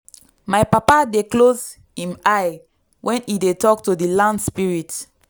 my papa dey close him eye when e dey talk to di land spirits.